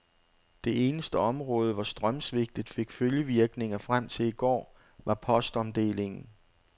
Det eneste område, hvor strømsvigtet fik følgevirkninger frem til i går, var postomdelingen.